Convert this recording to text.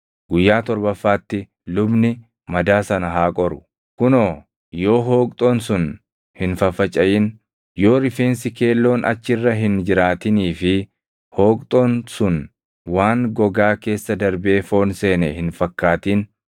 Guyyaa torbaffaatti lubni madaa sana haa qoru; kunoo yoo hooqxoon sun hin faffacaʼin, yoo rifeensi keelloon achi irra hin jiraatinii fi hooqxoon sun waan gogaa keessa darbee foon seene hin fakkaatin,